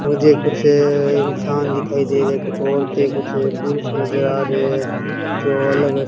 मुझे कुछ इंसान दिखाई दे रहे कुछ औरतें कुछ पुरुष नजर आ रहे है जो अलग --